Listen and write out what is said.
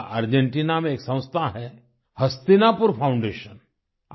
यहाँ अर्जेंटिना में एक संस्था है हस्तिनापुर फाउंडेशन